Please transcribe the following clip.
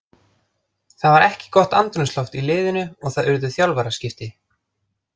Það var ekki gott andrúmsloft í liðinu og það urðu þjálfaraskipti.